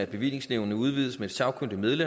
vi i udvalgsarbejdet vil